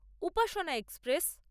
Upasana express